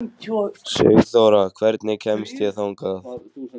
Sigþóra, hvernig kemst ég þangað?